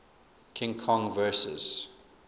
king kong vs